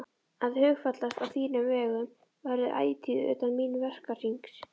Að hugfallast á þínum vegum verður ætíð utan míns verkahrings.